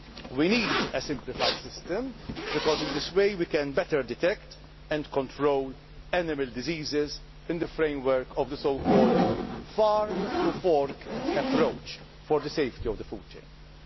in the EU. We need a simplified system, because in this way we can better detect and control animal diseases in the framework of the farm to fork approach to food chain